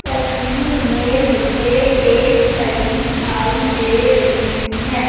तस्वीर में मुझे एक घड़ी दिखाई दे रही है।